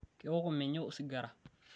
kewok menye osigara